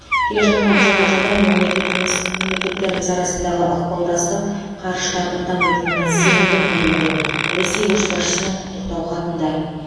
келе жатқан жаңа жылда мемлекетіміз мемлекеттеріміз арасындағы ықпалдастық қарыштап дамитынына сенімдімін делінген ресей көшбасшысының құттықтау хатында